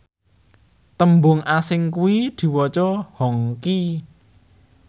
tembung asing iku diwaca hongxi